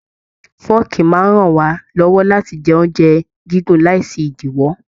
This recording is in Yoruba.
Fọọ̀kí máa n rán wá lọwọ láti jẹ oúnjẹ gígùn láì sí idiwọ.